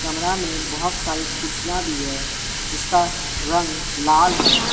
कमरा में बहुत सारी कुर्सियां भी है जिसका रंग लाल है।